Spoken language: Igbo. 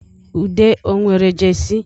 Ude ọ nwere Jesi?